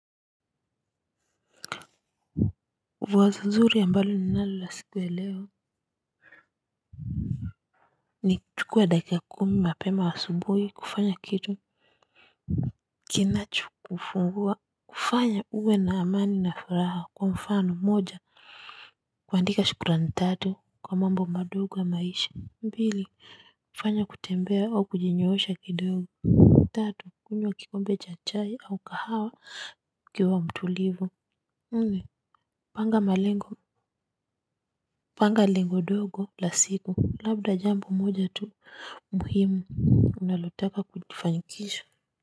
Wazo zuri ambalo ninalo la siku ya leo. Ni chukua dakika kumi mapema asubuhi kufanya kitu kinachokufanya uwe na amani na furaha kwa mfano moja kuandika shukurani tatu kwa mambo madogo ya maisha mbili fanya kutembea au kujinyoosha kidogo. Tatu kunywa kikombe cha chai au kahawa ukiwa mtulivu. Nne panga malengo panga lengo dogo la siku labda jambo moja tu muhimu unalotaka kufanikisha.